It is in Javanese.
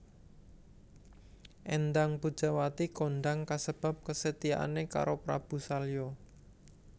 Éndang Pujawati kondang kasebab kesetiaane karo Prabu Salya